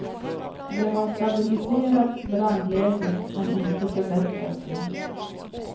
Det har stabiliserat brandläget men inte förbättrat det.